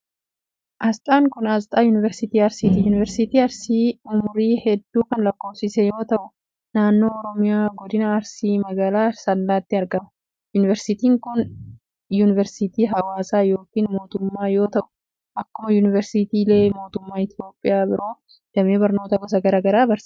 Asxaan kun, asxaa Yuunivarsiitii Arsiiti. Yuunivarsiitiin arsii umurii hedduu kan lakkoofsisee yoo ta'u, naannoo Oromiyaa, godina Arsii, magaalaa Asallaatti argama. Yuunivarsiitiin kun, yuunivarsiitii hawaasaa yokin mootummaa yoo ta'u, akkuma yuunivarsiitiilee mootummaa Itoophiyaa biroo damee barnootaa gosa garaa garaa barsiisa.